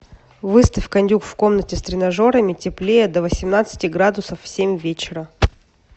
выставь кондюк в комнате с тренажерами теплее до восемнадцати градусов в семь вечера